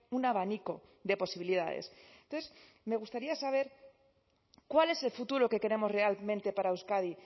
un abanico de posibilidades entonces me gustaría saber cuál es el futuro que queremos realmente para euskadi